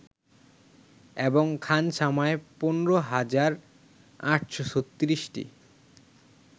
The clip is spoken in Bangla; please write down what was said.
এবং খানসামায় ১৫ হাজার ৮৩৬টি